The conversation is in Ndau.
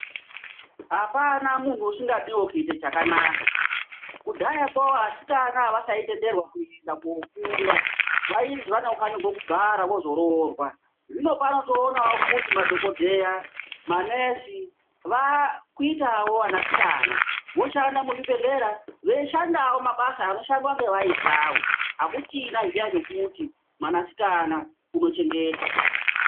Apana muntu usingadiwo kuite chakanaka. Kudhayako vasikana avasaitenderwa kuenda kofunda, vaizwi vanofanirwa kugara vozoroorwa. Zvinopano toonawo kuti madhogodheya, manesi vakuitawo anasikana. Voshandawo muzvibhedhlera, veishandawo mabasa anoshandwa ngevaisawo. Akuchina zviya zvekuti mwanasikana unochengetwa.